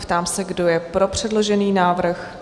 Ptám se, kdo je pro předložený návrh?